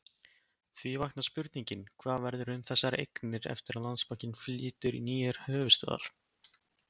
Því vaknar spurningin, hvað verður um þessar eignir eftir að Landsbankinn flytur í nýjar höfuðstöðvar?